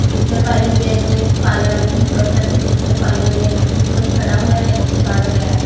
ਨਿੱਕਰ ਪਾਈ ਹੋਈ ਐ ਇੱਕ ਨੇ ਕਾਲੇ ਰੰਗ ਦੀ ਸ਼ਰਟ ਅਤੇ ਨਿੱਕਰ ਪਾਈ ਹੋਈ ਐ ਇੱਕ ਉੱਪਰ ਖੜਾ ਹੋਇਆ ਏ ਇੱਕ ਚੜ ਰਿਹਾ ਏ।